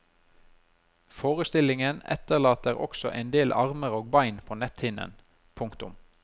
Forestillingen etterlater også en del armer og bein på netthinnen. punktum